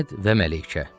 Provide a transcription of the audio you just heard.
Əhməd və Məlikə.